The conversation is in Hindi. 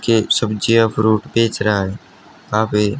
के सब्जियां फ्रूट बेच रहा हैं यहां पे--